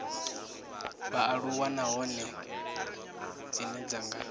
vhaaluwa nahone dzine dza nga